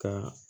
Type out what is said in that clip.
Ka